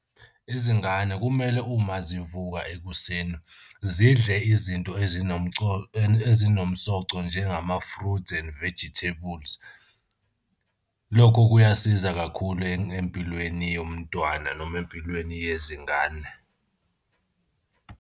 Izingane kumele uma zivuka ekuseni zidle izinto ezinomsoco njengama-fruit and vegetables. Lokho kuyasiza kakhulu empilweni yomntwana noma empilweni yezingane.